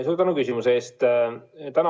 Suur tänu küsimuse eest!